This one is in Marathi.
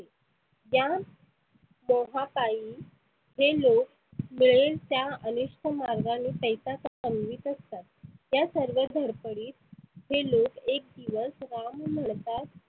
या मोहा पायी हे लोक मिळेल त्या अनिष्ठ मार्गाने पैसा कमवीत असतात. त्या सर्व धडपडीत हे लोक एक दिवस राम